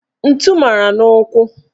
Ntu mara n' ụkwụ.